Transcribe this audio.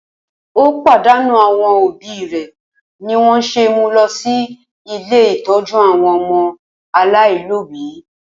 Ó pàdánù àwọn òbí rẹ̀ nì wọ́n se mú lọ sí ilé ìtọ́jú àwọn ọmọ aláìlóbí.